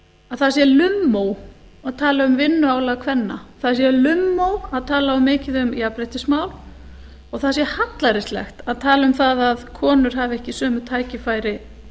að það sé lummó að tala um vinnuálag kvenna það sé lummó að tala mikið um jafnréttismál og það sé hallærislegt að tala um það að konur hafi ekki sömu tækifæri